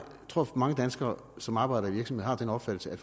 tror at mange danskere som arbejder i virksomheder har den opfattelse at